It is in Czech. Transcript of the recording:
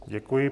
Děkuji.